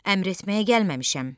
Əmr etməyə gəlməmişəm.